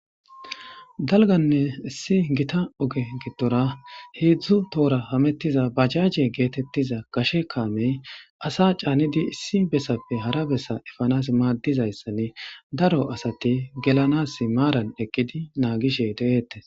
Daliggane issi gitta ogeni hedzu tohora dizza bajajey qishe kamey assa canidi issi besape hara bessa efanasi madizayisane darro assati gelanasi marrani eqidi nagishe detes